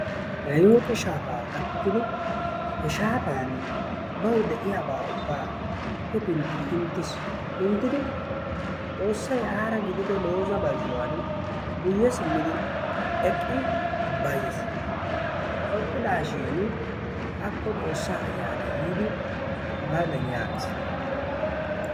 Iyooqe shaafaa gaakkidi he shaafani bawu de'iyaa ubbaa hefintti pinttiis. xoosay aara gidido looza bazzuwaan guyye siimmidi eqqi bayiis. Eqqidaashin akko xoossaa ayanay yiidi hagaadan yaagiis.